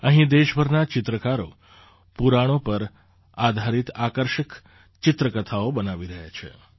અહીં દેશભરના ચિત્રકારો પુરાણો પર આધારિત આકર્ષક ચિત્રકથાઓ બનાવી રહ્યા છે